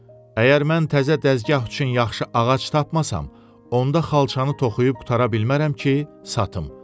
Əgər mən təzə dəzgah üçün yaxşı ağac tapmasam, onda xalçanı toxuyub qurtara bilmərəm ki, satım.